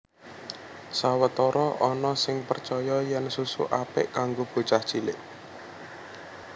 Sawetara ana sing percaya yèn susu apik kanggo bocah cilik